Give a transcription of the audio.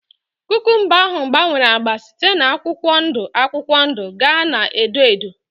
Kukumba ahụ gbanwere ágbá site na akwụkwọ ndụ akwụkwọ ndụ gaa na edo edo